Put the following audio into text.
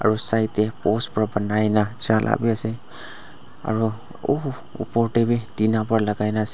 aro side tae post pa banai na jala biase aro uhu opor tae bi tina pa lakaina ase.